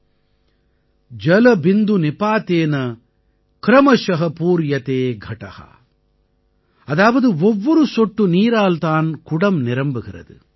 जलबिंदु निपातेन क्रमशः पूर्यते घटः | ஜலபிந்து நிபாதேன க்ரமஷ பூர்யதே கட ஜ்ஜ்அதாவது ஒவ்வொரு சொட்டு நீரால் தான் குடம் நிரம்புகிறது